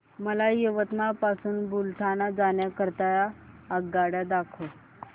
मला यवतमाळ पासून बुलढाणा जाण्या करीता आगगाड्या दाखवा